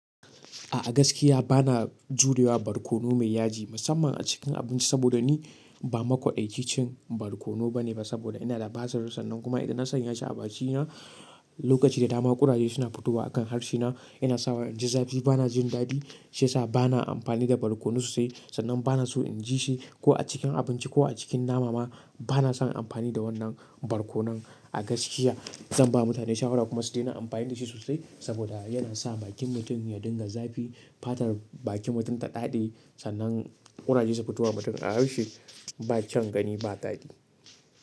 A gaskiya bana jurewa barkono mai yaji, musamman a cikin abinci saboda ni ba makwaƙaici cin barkono bane ba saboda ina da basir sannan kuma idan na sanya shi a bakina lokaci da dama ƙuraje suna fitowa akan harshe na yana sawa inji zafi bana jin dadi shiyasa bana amfani da barkono sosai sannan bana so in ji shi ko a cikin abinci ko a cikin nama ma bana son amfani da wannan barkono a gaskiya zan ba mutane shawara kuma su daina amfani da shi sosai saboda yana sa bakin mutum ya dinga zafi fatar bakin mutum ta daɗe sannan ƙuraje su fito wa mutum a harshe ba kyaun gani ba dadi.